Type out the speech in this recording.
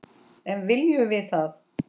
En viljum við það?